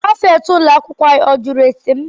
Prịfeti ụlọ akwụkwọ anyị ajụrụ ese m?